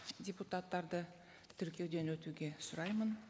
депутаттарды тіркеуден өтуге сұраймын